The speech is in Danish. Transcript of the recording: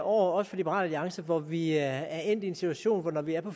også for liberal alliance hvor vi er endt i en situation hvor vi er